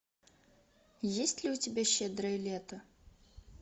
есть ли у тебя щедрое лето